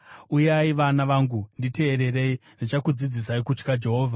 Uyai, vana vangu, nditeererei; ndichakudzidzisai kutya Jehovha.